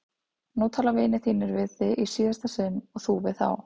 Nú tala vinir þínir við þig í síðasta sinn og þú við þá!